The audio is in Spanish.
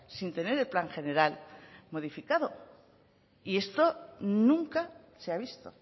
sin tener el plan general modificado y esto nunca se ha visto